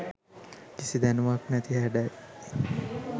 කිසි දැනුමක් නැති හැඩයි.